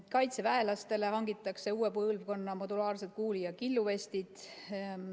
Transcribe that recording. Kaitseväelastele hangitakse uue põlvkonna modulaarsed kuuli‑ ja killuvestid.